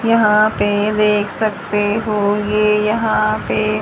यहां पे देख सकते हों ये यहां पे--